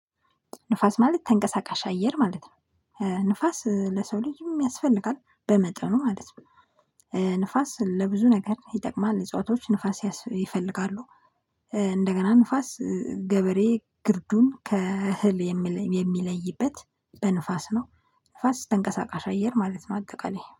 ንፋስ ማለት ተንቀሳቃሽ አየር ማለት ነው። ንፋስ ለሰው ልጅም ያስፈልጋል በመጠኑ ማለት ነው። ንፋስ ለብዙ ነገር ይጠቅማል እጽዋቶች ንፋስ ይፈልጋሉ። እንደገና ንፋስ ገበሬ ግርዱን ከእህል የሚለይበት በንፋስ ነው። ንፋስ ተንቀሳቃሽ አየር ማለት ነው አጠቃላይ